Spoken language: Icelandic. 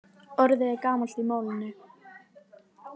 Orðið er gamalt í málinu.